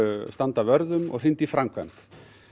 standa vörð um og hrinda í framkvæmd